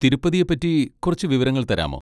തിരുപ്പതിയെ പറ്റി കുറച്ച് വിവരങ്ങൾ തരാമോ?